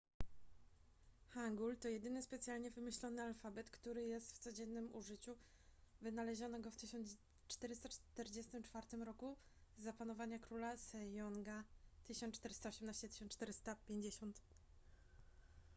hangul to jedyny specjalnie wymyślony alfabet który jest w codziennym użyciu. wynaleziono go w 1444 roku za panowania króla sejonga 1418–1450